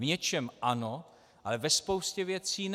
V něčem ano, ale ve spoustě věcí ne.